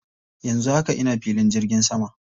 Yanzu haka ina filin jirgin sama.